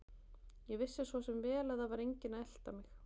Ég vissi svo sem vel að það var enginn að elta mig.